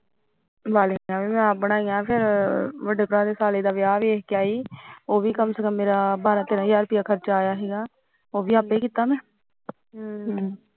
ਵਾਲੀਆਂ ਵੀ ਮੈਂ ਆਪ ਬਣਾਈਆਂ ਵਡੀਆਂ ਬਾਈ ਦਾ ਵਿਆਹ ਵੇਖ ਕੇ ਉਹ ਵੀ ਬਾਰਾ ਤੇਰਾ ਹਜਾਰ ਖਰਚਾ ਆਇਆ ਸੀ ਉਹ ਵੀ ਮੈਂ ਆਪੇ ਕੀਤਾ ਹਾਂ